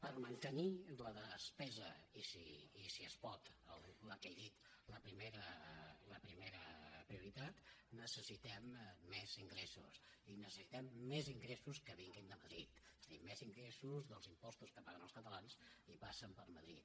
per mantenir la despesa i si es pot la que he dit la primera prioritat necessitem més ingressos i necessitem més ingressos que vinguin de madrid és a dir més ingressos dels impostos que paguen els catalans i passen per madrid